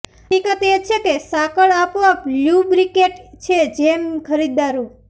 હકીકત એ છે કે સાંકળ આપોઆપ લ્યુબ્રિકેટ છે જેમ ખરીદદારો